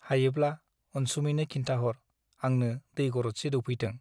हायोब्ला अनसुमैनो खिन्थाहर , आंनो दै गरदसे दौफैथों ।